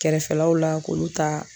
Kɛrɛfɛlaw la k'olu ta